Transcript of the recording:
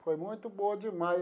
Foi muito boa demais.